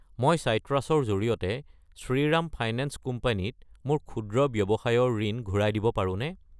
মই চাইট্ৰাছ ৰ জৰিয়তে শ্ৰীৰাম ফাইনেন্স কোম্পানী ত মোৰ ক্ষুদ্ৰ ৱ্যৱসায়ৰ ঋণ ঘূৰাই দিব পাৰোনে?